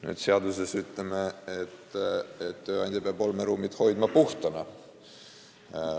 Nüüd me ütleme seaduses, et tööandja peab olmeruumid hoidma puhtana.